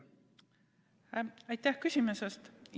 Aitäh küsimuse eest!